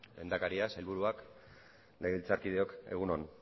lehendakaria sailburuak legebiltzarkideok egun on